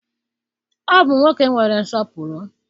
Ọ bụ nwoke nwere nsọpụrụ.